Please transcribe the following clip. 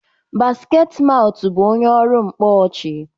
Basketmaut bụ onye ọrụ mkpọ ọchị.